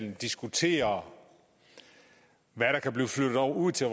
at diskutere hvad der kan blive flyttet ud til